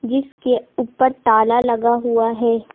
जिसके ऊपर ताला लगा हुआ है।